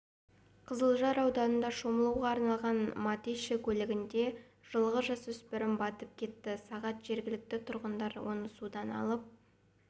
қызылжар ауданында шомылауға арналмаған матище көлінде жылғы жасөспірім батып кетті сағат жергілікті тұрғындар оны судан алып